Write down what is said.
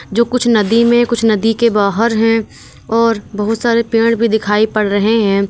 जो कुछ नदी में कुछ नदी के बाहर हैं और बहुत सारे पेड़ भी दिखाई पड़ रहे हैं।